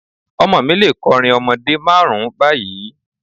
Ọmọ mi lè kọrin ọmọdé márùn-ún báyìí.